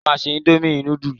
Ìyá mi máa se indomie núdúlù.